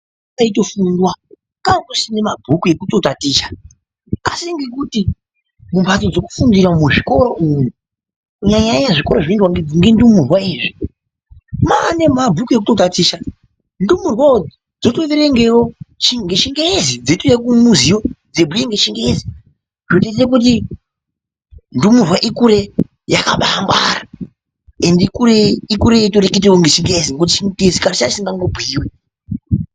Kaitofundwa kanga kusina mabhuku ekutotaticha asi ngekuti mumbatso dzekufundira umu muzvikora umu kunyanya zvikora zvinoendwa nendumurwa izvi mane mabhuku ekutotatichisa, ndumurwawo dzotoverengewo ngechingezi dzotouya kumiziyo dzeibhuya ngechingezi zvotoita kuti ndumurwa ukure yakabangwara ende ikure yeitoreketawo ngechingezi ngekuti chingezi kare change chidingangobhuyiwi.